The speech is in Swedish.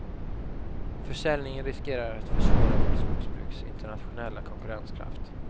Försäljningen riskerar att försvåra vårt skogsbruks internationella konkurrenskraft.